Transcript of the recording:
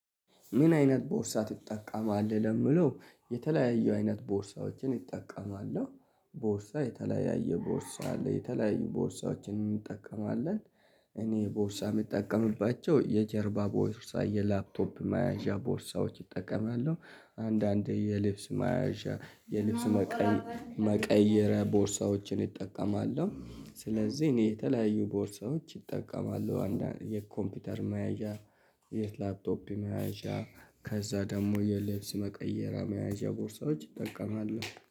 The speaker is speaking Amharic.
ምን አይነት ቦርሳ ትጠቀማለህ? ለምለው የተለያዩ አይነት ቦርሳዎችን ኢጠቀማለሁ ቦርሳ የተለያየ ቦርሳ አለ የተለያዩ ቦርሳዎችን እንጠቀማለን። እኔ ቦርሳ የምጠቀምባቸው የጀርባ ቦርሳ የላፕቶፕ ማያዣ ቦርሳዎች እጠቀማለው። አንዳንዴ የልብስ ማያዣ የልብስ መቀየሪያ ቦርሳዎችን እጠቀማለሁ። ስለዚህ እኔ የተለያዩ ቦርሳዎች ኢጠቀማለው አንዳንድ የኮምፒውተር መያዣ የላፕቶፕ መያዣ ከዛ ደግሞ የልብስ መቀየሪያ መያዣ ቦርሳዎች እጠቀማለው